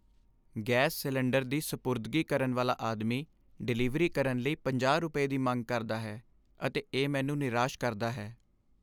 Gas cylinder ਦੀ ਸਪੁਰਦਗੀ ਕਰਨ ਵਾਲਾ ਆਦਮੀ ਡਿਲੀਵਰੀ ਕਰਨ ਲਈ 50 ਰੁਪਏ ਦੀ ਮੰਗ ਕਰਦਾ ਹੈ ਅਤੇ ਇਹ ਮੈਨੂੰ ਨਿਰਾਸ਼ ਕਰਦਾ ਹੈ।